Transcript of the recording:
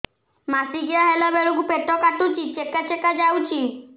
ମାସିକିଆ ହେଲା ବେଳକୁ ପେଟ କାଟୁଚି ଚେକା ଚେକା ଯାଉଚି